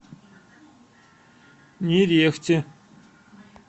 нерехте